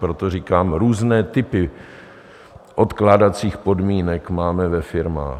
Proto říkám, různé typy odkládacích podmínek máme ve firmách.